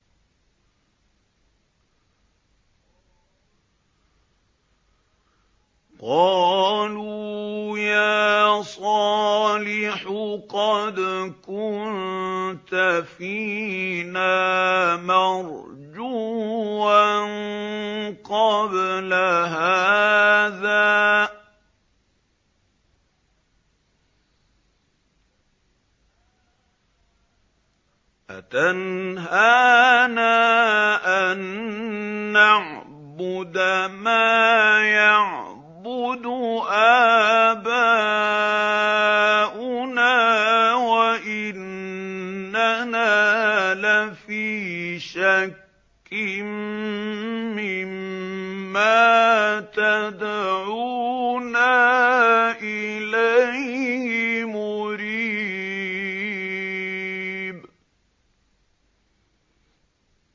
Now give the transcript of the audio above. قَالُوا يَا صَالِحُ قَدْ كُنتَ فِينَا مَرْجُوًّا قَبْلَ هَٰذَا ۖ أَتَنْهَانَا أَن نَّعْبُدَ مَا يَعْبُدُ آبَاؤُنَا وَإِنَّنَا لَفِي شَكٍّ مِّمَّا تَدْعُونَا إِلَيْهِ مُرِيبٍ